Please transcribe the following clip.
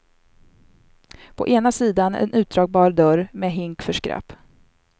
På ena sidan en utdragbar dörr med hink för skräp.